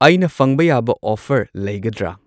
ꯑꯩꯅ ꯐꯪꯕ ꯌꯥꯕ ꯑꯣꯐꯔ ꯂꯩꯒꯗ꯭ꯔꯥ